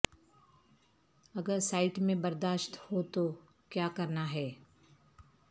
اگر سائٹ میں برداشت ہو تو کیا کرنا ہے